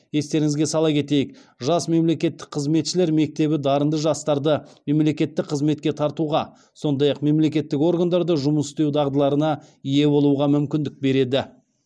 естеріңізге сала кетейік жас мемлекеттік қызметшілер мектебі дарынды жастарды мемлекеттік қызметке тартуға сондай ақ мемлекеттік органдарда жұмыс істеу дағдыларына ие болуға мүмкіндік береді